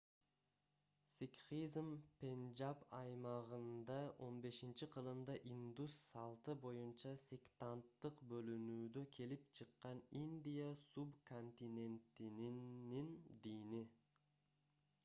сикхизм пенджаб аймагында 15-кылымда индус салты боюнча сектанттык бөлүнүүдө келип чыккан индия суб-континентинин дини